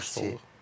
Soyuqcanlılıq.